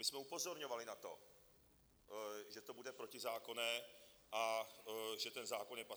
My jsme upozorňovali na to, že to bude protizákonné a že ten zákon je paskvil.